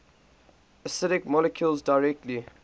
acidic molecules directly